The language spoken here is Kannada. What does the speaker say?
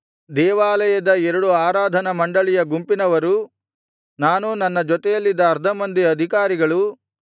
ದೇವಾಲಯದ ಎರಡು ಆರಾಧನಾ ಮಂಡಳಿಯ ಗುಂಪಿನವರೂ ನಾನೂ ನನ್ನ ಜೊತೆಯಲ್ಲಿದ್ದ ಅರ್ಧ ಮಂದಿ ಅಧಿಕಾರಿಗಳೂ